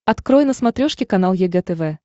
открой на смотрешке канал егэ тв